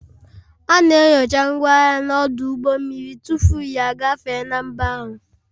A na-enyocha ngwaahịa n'ọdụ ụgbọ mmiri tupu ya agafee na mba ahụ